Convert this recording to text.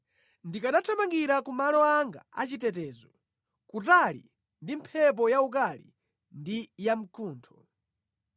Ndikanathamangira kumalo anga a chitetezo; kutali ndi mphepo yaukali ndi yamkuntho.”